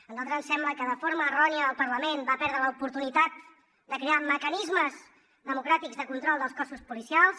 a nosaltres ens sembla que de forma errònia el parlament va perdre l’oportunitat de crear mecanismes democràtics de control dels cossos policials